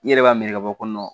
I yɛrɛ b'a minɛ ka bɔ